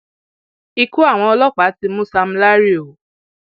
ikú àwọn ọlọpàá ti mú sam larry o